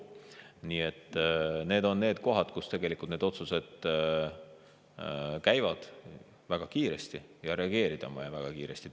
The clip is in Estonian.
Need on, kus tegelikult otsused tehakse väga kiiresti ja reageerida on vaja väga kiiresti.